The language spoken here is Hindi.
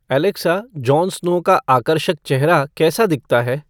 एलेक्सा, जॉन स्नो का आकर्षक चेहरा कैसा दिखता है